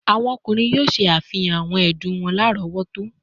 Awọn ọkunrin yoo ṣe afihan awọn ẹdun wọn larọwọto